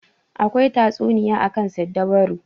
Akwai tatsuniya akan siddabaru.